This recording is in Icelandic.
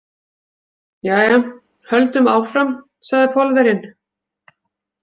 Jæja, höldum áfram, sagði Pólverjinn.